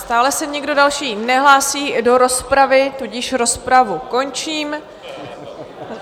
Stále se nikdo další nehlásí do rozpravy, tudíž rozpravu končím.